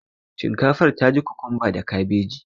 Shinkafar ta ji kokumba da kabeji sosai